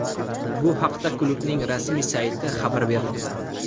Bu haqda klubning rasmiy sayti xabar bermoqda.